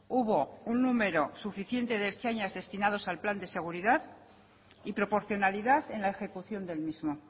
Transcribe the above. hubo un número suficiente de ertzainas destinados al plan de seguridad y proporcionalidad en la ejecución del mismo